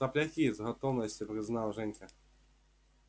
сопляки с готовностью признал женька